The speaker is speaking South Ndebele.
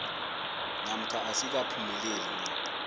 namkha asikaphumeleli na